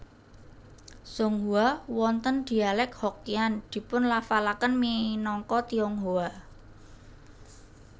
Zhonghua wonten dialek Hokkian dipunlafalaken minangka Tionghoa